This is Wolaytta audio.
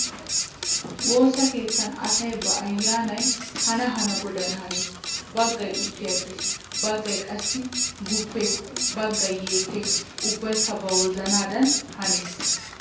Woosa keettan asay ba aayyaanay hana hana goodan hanees. Baggay uttiyaaggees, baggay qassi guppees baggay yeekkees ubbaykka ba wozaanaadan hanees.